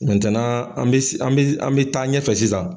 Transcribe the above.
an bi, an bi taa ɲɛfɛ sisan.